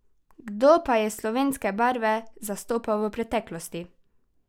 Kdo pa je slovenske barve zastopal v preteklosti?